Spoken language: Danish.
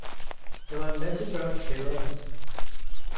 Der var en masse børn i kælderen.